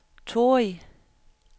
Torrig